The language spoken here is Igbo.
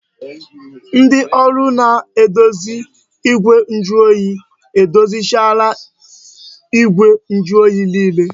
Ndị ọrụ na-edozi igwe njuoyi edozichaala igwe njuoyi niile